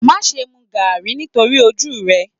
Má ṣe mu Garri nítorí ojú rẹ.